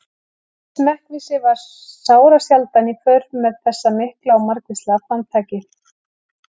Smekkvísi var sárasjaldan í för með þessu mikla og margvíslega framtaki.